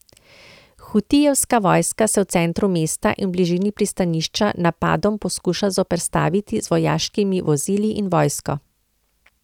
Hutijevska vojska se v centru mesta in v bližini pristanišča napadom poskuša zoperstaviti z vojaškimi vozili in vojsko.